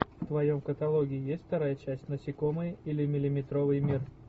в твоем каталоге есть вторая часть насекомые или миллиметровый мир